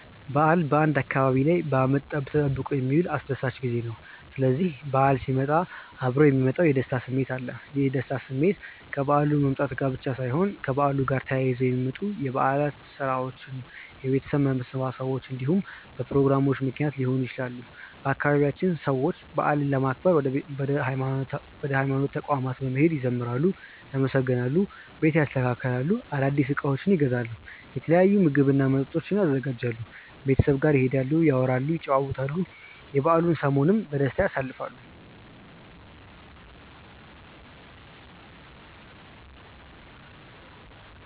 በዓል በአንድ አካባቢ ላይ በአመት ተጠብቆ የሚመጣ አስደሳች ጊዜ ነው። ስስዚህ በዓል ሲመጣ እብሮ የሚመጣ የደስታ ስሜት አለ። ይህ የደስታ ስሜት ከበዓሉ መምጣት ጋር ብቻ ሳይሆን ከበዓሉ ጋር ተያይዘው በሚመጡት የበዓል ስራዎች፣ የቤተሰብ መሰባሰቦች እንዲሁም በፕሮግራሞቹ ምክንያት ሊሆን ይችላል። በአባቢያችንም ሰዎች በዓልን ለማክበር ወደ ሀይማኖት ተቋማት በመሄድ ይዘምራሉ፣ ያመሰግናሉ፣ ቤት ያስተካክላሉ፣ አዳዲስ እቃዎችን ይገዛሉ፣ የተለያዩ ምግብ እና መጠጦችን ያዘጋጃሉ፣ ቤተሰብ ጋር ይሄዳሉ፣ ያወራሉ፣ ይጨዋወታሉ፣ የበዓሉን ሰሞንም በደስታ ያሳልፋሉ።